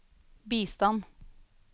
bistand